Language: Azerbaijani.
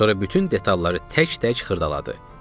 Sonra bütün detalları tək-tək xırdaladı.